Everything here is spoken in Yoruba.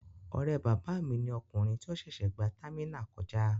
Ọ̀rẹ́ bàbá mi ni ọkùnrin tí ó ṣẹ̀ṣẹ̀ gba támínà kọjá.